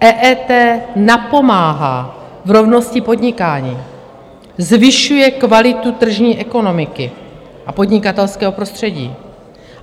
EET napomáhá v rovnosti podnikání, zvyšuje kvalitu tržní ekonomiky a podnikatelského prostředí.